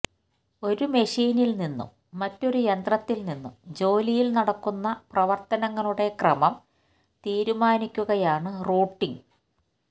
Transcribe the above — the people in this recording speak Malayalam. ഒരു മെഷീനിൽ നിന്നും മറ്റൊരു യന്ത്രത്തിൽ നിന്നും ജോലിയിൽ നടക്കുന്ന പ്രവർത്തനങ്ങളുടെ ക്രമം തീരുമാനിക്കുകയാണ് റൂട്ടിംഗ്